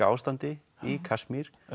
ástandi í Kasmír